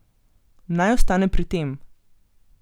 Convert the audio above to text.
Naj ostane pri tem.